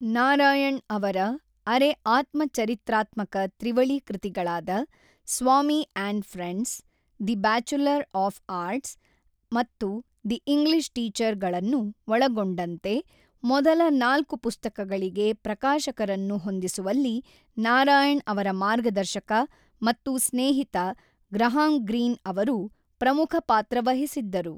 ನಾರಾಯಣ್ ಅವರ ಅರೆ-ಆತ್ಮಚರಿತ್ರಾತ್ಮಕ ತ್ರಿವಳಿ ಕೃತಿಗಳಾದ Swami and friends, the bachelor of arts ಮತ್ತು ದಿ ಇಂಗ್ಲಿಷ್ ಟೀಚರ್ ಗಳನ್ನು ಒಳಗೊಂಡಂತೆ ಮೊದಲ ನಾಲ್ಕು ಪುಸ್ತಕಗಳಿಗೆ ಪ್ರಕಾಶಕರನ್ನು ಹೊಂದಿಸುವಲ್ಲಿ ನಾರಾಯಣ್ ಅವರ ಮಾರ್ಗದರ್ಶಕ ಮತ್ತು ಸ್ನೇಹಿತ ಗ್ರಹಾಂ ಗ್ರೀನ್ ಅವರು ಪ್ರಮುಖ ಪಾತ್ರ ವಹಿಸಿದ್ದರು.